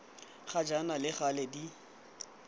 ga jaana le gale di